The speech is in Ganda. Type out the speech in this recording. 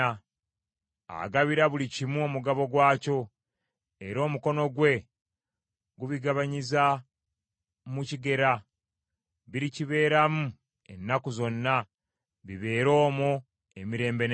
Agabira buli kimu omugabo gwakyo, era omukono gwe gubigabanyiza mu kigera. Birikibeeramu ennaku zonna, bibeere omwo emirembe n’emirembe.